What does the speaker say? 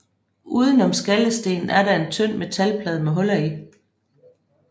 Uden om skallestenen er der en tynd metalplade med huller i